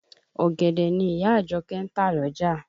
Ọ̀gẹ̀dẹ̀ ni ìyá Àjọkẹ́ ń tà lọ́jà